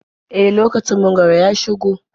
E, lokacin mangwaro ya shigo.